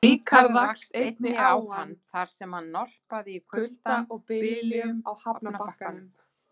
Ríkharð rakst einnig á hann, þar sem hann norpaði í kulda og byljum á hafnarbakkanum.